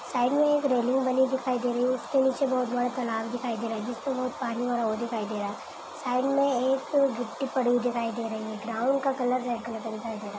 Side में एक railing बनी दिखाई दे रही है उसके नीचे बहोत बड़ा तलाब दिखाई दे है जिस पे बहोत पानी भरा हुआ दिखाई दे रहा है साइड एक गिट्टी पड़ी हुई दिखाई दे रही है ग्राउंड का कलर रेड कलर का दिखाई दे रहा है।